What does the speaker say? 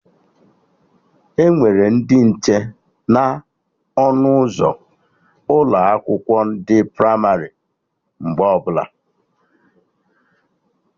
Enwere ndị nche na ọnụ ụzọ ụlọ akwụkwọ ndị pramarị mgbe ọbụla